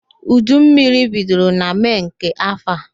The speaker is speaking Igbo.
Udu mmiri bidoro na Mee nke afọ a